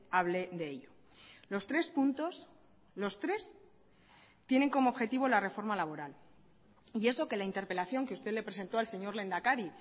hable de ello los tres puntos los tres tienen como objetivo la reforma laboral y eso que la interpelación que usted le presentó al señor lehendakari